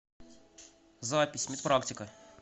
запись медпрактика